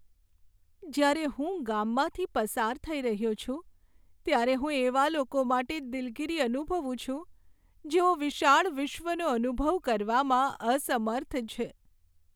જ્યારે હું ગામમાંથી પસાર થઈ રહ્યો છું, ત્યારે હું એવા લોકો માટે દિલગીરી અનુભવું છું જેઓ વિશાળ વિશ્વનો અનુભવ કરવામાં અસમર્થ છે.